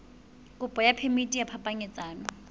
kopo ya phemiti ya phapanyetsano